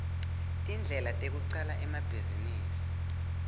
tindlela tecala emabhizinisi